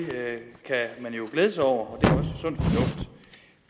kan man jo glæde sig over og